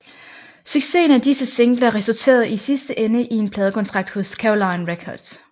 Succesen af disse singler resulterede i sidste ende i en pladekontrakt hos Caroline Records